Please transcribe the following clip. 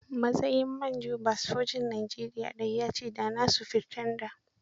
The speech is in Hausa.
Matsayin manjoba sojan Nigeria daya ya ce da na sufirtanda.